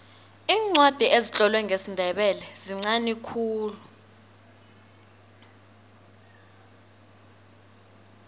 iincwadi ezitlolwe ngesindebele zinqani khulu